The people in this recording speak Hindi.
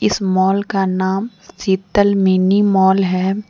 इस मोल का नाम शीतल मिनी मोल है।